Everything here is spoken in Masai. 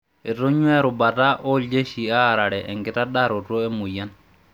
Etonyuaa erubata ooljeshi aarare enkitadaroto emoyian.